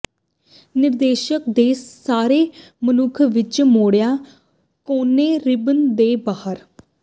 ਨਿਰਦੇਸ਼ ਦੇ ਸਾਰੇ ਮਨੁੱਖ ਵਿੱਚ ਮਰੋੜਿਆ ਕੋਨੇ ਰਿਬਨ ਦੇ ਬਾਹਰ